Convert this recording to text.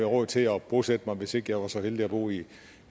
råd til at bosætte mig hvis ikke jeg var så heldig at bo i